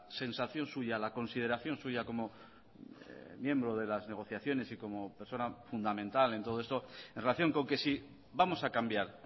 sensación suya la consideración suya como miembro de las negociaciones y como persona fundamental en todo esto en relación con que si vamos a cambiar